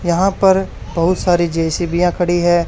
यहां पर बहुत सारी जे_सी_बी यां खड़ी है।